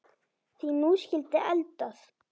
Því nú skyldi eldað.